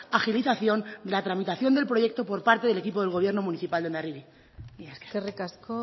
agilización de la tramitación del proyecto por parte del equipo del gobierno municipal de hondarribia mila esker eskerrik asko